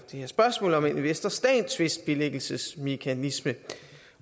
spørgsmål om en investor stat tvistbilæggelsesmekanisme